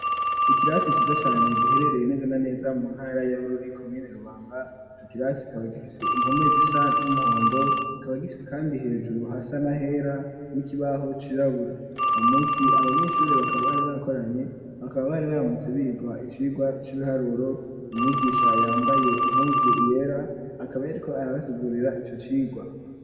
Ikirasi ciza cane giherereye neza na neza mu ntara ya Bururi komine Rubanga, ico kirasi kikaba gifise impomezi zisa n'umuhondo kikaba gifise kandi hejuru hasa nahera n'ikibaho cirabura, uwo munsi abanyeshuri bakaba bari bakoranye bakaba bari baramutse bigwa icigwa c'ibiharuro, umwigisha yambaye impuzu yera akaba yariko arabasigurira ico cigwa.